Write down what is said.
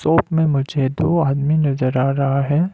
Shop में मुझे दो आदमी नजर आ रहा है।